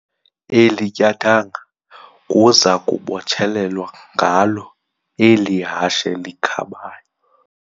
Eli tyathanga kuza kubotshelelwa ngalo eli hashe likhabayo.